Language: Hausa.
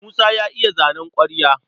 Musa ya iya zanen ƙwarya.